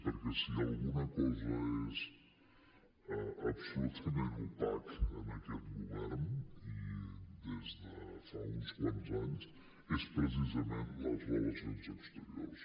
perquè si alguna cosa és absolutament opaca en aquest govern i des de fa uns quants anys són precisament les relacions exteriors